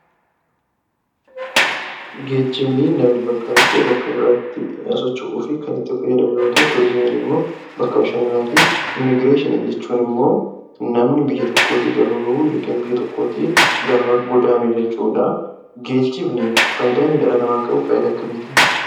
Geejjibni namni bakka tokkoo bakka biraatti sochoo'uf Kan itti faayyadaamu yeroo ta'u, tuurizimiin immoo bakka bashananaatti. immigireeshinii jechuun immoo; namni biyya tokkootti gaafa ba'u ykn biyya tokkootti gaafa godaanuu jechuudha. Geejjibni faayidaan inni dhala namaattif qabu faayidaa akkamitti?